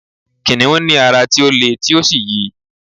kìnìún ní ara ti o le ti o sí yi